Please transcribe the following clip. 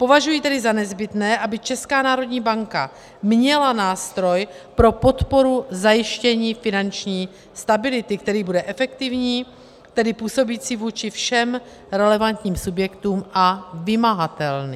Považuji tedy za nezbytné, aby Česká národní banka měla nástroj pro podporu zajištění finanční stability, který bude efektivní, tedy působící vůči všem relevantním subjektům, a vymahatelný.